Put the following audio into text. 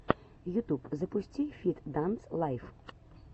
ютуб запусти фит данс лайф